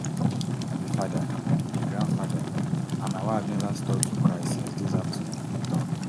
i be father a grandfather and my wife neva stop to cry since dis afternoon e tok